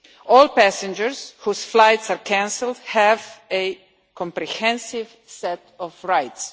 All passengers whose flights are cancelled have a comprehensive set of rights.